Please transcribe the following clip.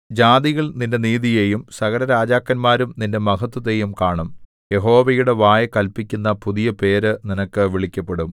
ജാതികൾ നിന്റെ നീതിയെയും സകലരാജാക്കന്മാരും നിന്റെ മഹത്ത്വത്തെയും കാണും യഹോവയുടെ വായ് കല്പിക്കുന്ന പുതിയ പേര് നിനക്ക് വിളിക്കപ്പെടും